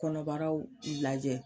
Kɔnɔbaraw lajɛ